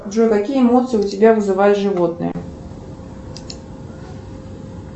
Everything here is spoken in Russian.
джой какие эмоции у тебя вызывают животные